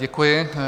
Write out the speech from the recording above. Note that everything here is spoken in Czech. Děkuji.